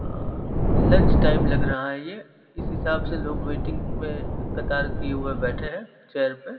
अ lunch time लग रहा है ये इस हिसाब से लोग वेटिंग में कतार किये हुए बैठे हैं चेयर पे--